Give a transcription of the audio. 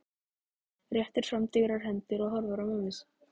Réttir fram digrar hendurnar og horfir á mömmu.